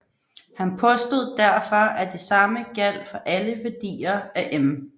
Han påstod derfor at det samme gjaldt for alle værdier af m